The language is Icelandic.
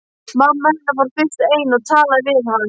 Mamma hennar fór fyrst ein og talaði við hann.